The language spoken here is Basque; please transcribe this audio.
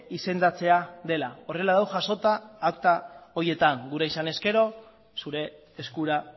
izendatzea dela horrela dago jasota akta horietan gura izanez gero zure eskura